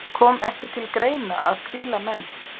Kom ekki til greina að hvíla menn?